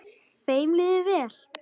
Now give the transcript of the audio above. Þeim líður vel.